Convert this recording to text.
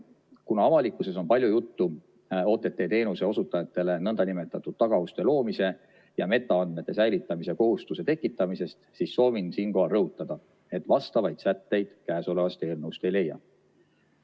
Kuna avalikkuses on palju juttu OTT-teenuse osutajatele nn tagauste loomise ja metaandmete säilitamise kohustuse tekitamisest, siis soovin siinkohal rõhutada, et vastavaid sätteid käesolevast eelnõust ei leia.